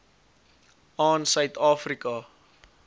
aan suid afrika